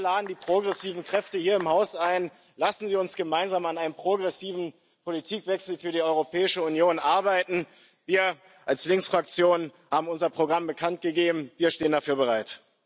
Wir laden die progressiven Kräfte hier im Haus ein Lassen Sie uns gemeinsam an einem progressiven Politikwechsel für die Europäische Union arbeiten! Wir als Linksfraktion haben unser Programm bekannt gegeben, wir stehen dafür bereit.